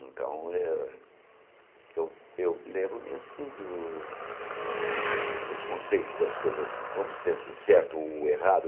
Então, eh eu eu lembro-me, assim, do dos conceitos das coisas, vamos dizer assim, certo ou errado.